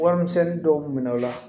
Warimisɛnni dɔw minɛ o la